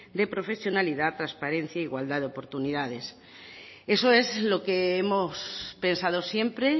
de profesionalidad trasparencia e igualdad de oportunidades eso es lo que hemos pensado siempre